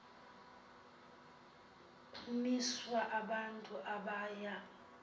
kumiswa abantu abaya